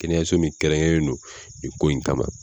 Kɛnɛyaso min kɛrɛn kɛrɛnlen do nin ko in kama.